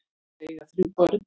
Þau eiga þrjú börn.